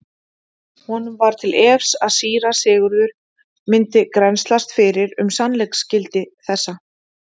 Honum var til efs að síra Sigurður myndi grennslast fyrir um sannleiksgildi þessa.